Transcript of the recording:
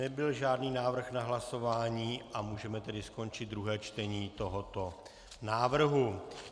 Nebyl žádný návrh na hlasování a můžeme tedy skončit druhé čtení tohoto návrhu.